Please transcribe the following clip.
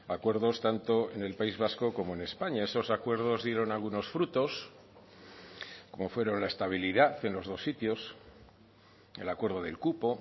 acuerdos tanto en el país vasco como en españa esos acuerdos dieron algunos frutos como fueron la estabilidad en los dos sitios el acuerdo del cupo